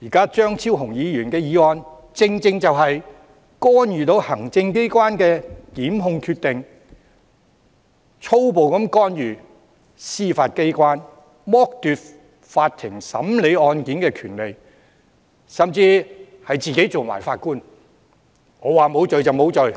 現在張超雄議員的議案正正就是干預行政機關的檢控決定，粗暴地干預司法機關，剝奪法庭審理案件的權利，甚至自行充當法官——他說無罪便無罪，